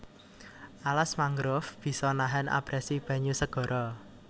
Alas mangrove bisa nahan abrasi banyu segara